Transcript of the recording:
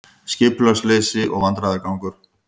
Skipulagsleysi og vandræðagangur